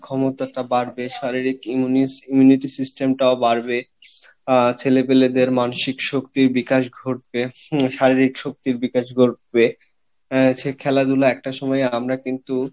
ক্ষমতা টা বাড়বে শারীরিক immunity system টাও বাড়বে আহ ছেলে পেলে দের মানসিক শক্তির বিকাশ ঘটবে হম শারীরিক শক্তির বিকাশ ঘটবে আহ সে খেলাধুলা একটা সময়ে আমরা কিন্তু